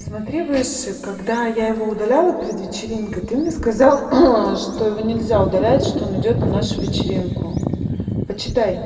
смотри выше когда я его удалила перед вечеринкой ты мне сказал что его нельзя удалять что он идёт на нашу вечеринку почитай